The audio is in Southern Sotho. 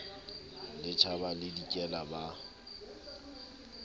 le tjhaba le dikela ba